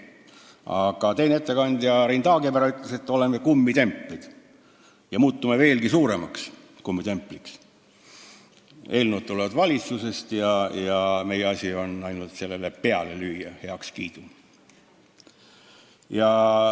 Aga teine ettekandja Rein Taagepera ütles, et me oleme kummitemplid ja muutume veelgi rohkem kummitempliks, sest eelnõud tulevad valitsusest ja meie asi on heakskiit peale lüüa.